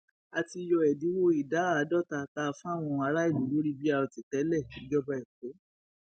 a ti yọ ẹdínwó ìdá àádọta tá a fáwọn aráàlú lórí brt tẹléìjọba ẹkọ